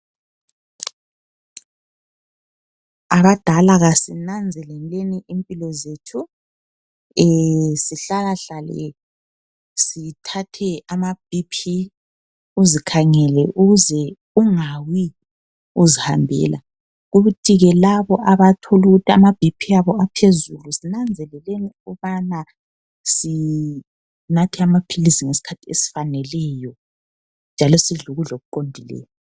Abadala kasinanzelenini izimpilo zethu. Sihlalahlale sithathe ama BP. Uzikhangele ukuze ungawi uzihambela. Kuthi ke labo abathola ukuthi ama BP abo aphezulu zinanzeleleni ukubana sinathe amaphilisi ngeskhathi esifaneleyo njalo sidle ukudla okuqondileyo.